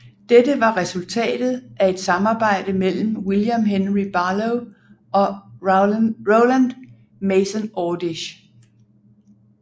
Dette var resultatet af et samarbejde mellem William Henry Barlow og Rowland Mason Ordish